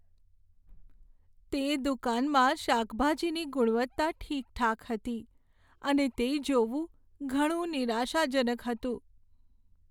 તે દુકાનમાં શાકભાજીની ગુણવત્તા ઠીકઠાક હતી અને તે જોવું ઘણું નિરાશાજનક હતું.